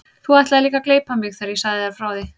Þú ætlaðir líka að gleypa mig þegar ég sagði þér frá því.